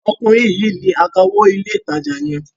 Ọkùnrin yìí ni akawó ilé-ìtajà yẹn.